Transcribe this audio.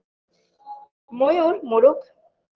ময়ূর মোরক